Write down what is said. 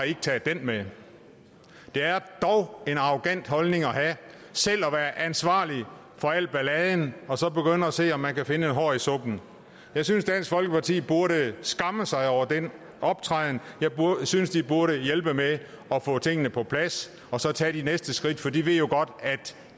ikke taget det med det er dog en arrogant holdning at have selv at være ansvarlig for al balladen og så begynde at se om man kan finde et hår i suppen jeg synes dansk folkeparti burde skamme sig over den optræden jeg synes de burde hjælpe med at få tingene på plads og så tage de næste skridt for de ved jo godt at